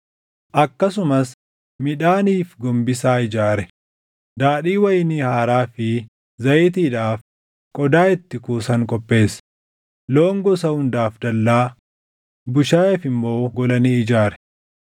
Akkasumas midhaaniif gombisaa ijaare; daadhii wayinii haaraa fi zayitiidhaaf qodaa itti kuusan qopheesse; loon gosa hundaaf dallaa, bushaayeef immoo gola ni ijaare.